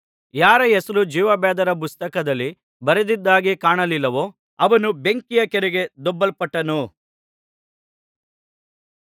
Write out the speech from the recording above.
ಯಾರ ಹೆಸರು ಜೀವಬಾಧ್ಯರ ಪುಸ್ತಕದಲ್ಲಿ ಬರೆದದ್ದಾಗಿ ಕಾಣಲಿಲ್ಲವೋ ಅವನು ಬೆಂಕಿಯ ಕೆರೆಗೆ ದೊಬ್ಬಲ್ಪಟ್ಟನು